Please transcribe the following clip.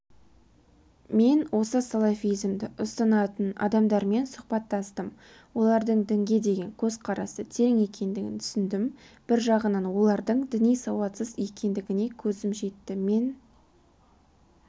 мен осы салафизмді ұстанатын адамдармен сұхбаттастым олардың дінге көзқарасы терең екендігін түсіндім бір жағынан олардың діни сауатсыз екендігіне көзім жетті мен